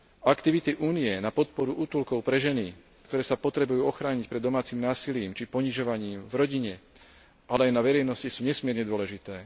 Aktivity Únie na podporu útulkov pre ženy, ktoré sa potrebujú ochrániť pred domácim násilím, či ponižovaním v rodine, ale aj na verejnosti, sú nesmierne dôležité.